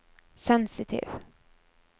sensitiv